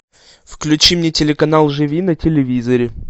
включи мне телеканал живи на телевизоре